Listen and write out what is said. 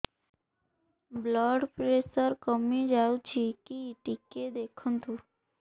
blood pressure କମି ଯାଉଛି କି ଟିକେ ଦେଖନ୍ତୁ